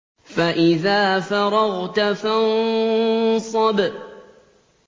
فَإِذَا فَرَغْتَ فَانصَبْ